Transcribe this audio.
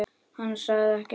Hann sagði ekki meira.